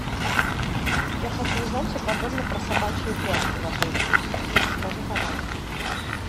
я хочу узнать все подробно про собачьи упряжки в отеле расскажи пожалуйста